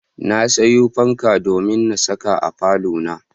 Na sayo fanka domin na saka a falona.